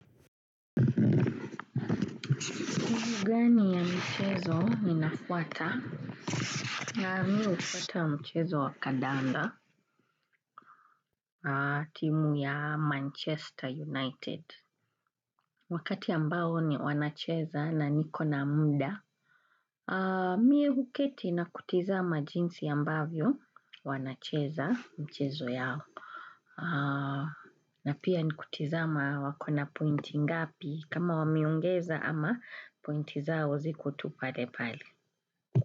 Timu gani ya mchezo ninafuata na mi hufuata mchezo wa Kadanda na timu ya Manchester United Wakati ambao ni wanacheza na nikona muda Mie huketi na kutizama jinsi ambavyo wanacheza mchezo yao na pia ni kutizama wakona pointi ngapi kama wameongeza ama pointi zao ziko tu pale pale.